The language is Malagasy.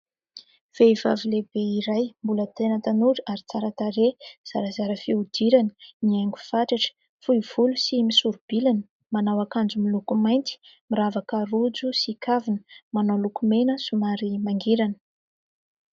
Vehivavy lehibe iray mbola tena tanora ary tsara tarehy, zarazara fihodirana, mihaingo fatratra, fohy volo sy misori-bilana, manao akanjo miloko mainty, miravaka rojo sy kavina, manao lokomena somary mangirana.